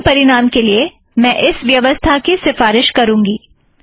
सर्वोत्म परिणाम के लिए मैं इस व्यवसथा की सिफ़ारिश करूँगी